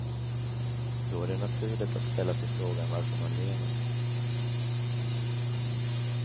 Då är det naturligt att ställa sig frågan varför man lever.